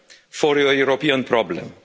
for a European problem.